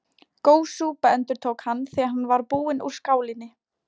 Góð súpa endurtók hann, þegar hann var búinn úr skálinni.